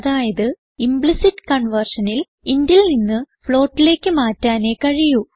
അതായത് ഇംപ്ലിസിറ്റ് conversionനിൽ intൽ നിന്ന് floatലേക്ക് മാറ്റാനേ കഴിയൂ